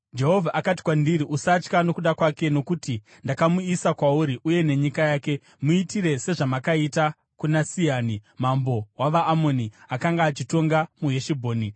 Jehovha akati kwandiri, “Usatya nokuda kwake, nokuti ndakamuisa kwauri uye nenyika yake. Muitire sezvamakaita kuna Sihani mambo wavaAmoni, akanga achitonga muHeshibhoni.”